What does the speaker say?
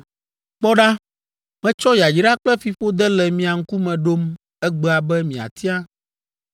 “Kpɔ ɖa, metsɔ yayra kple fiƒode le mia ŋkume ɖom egbea be miatia.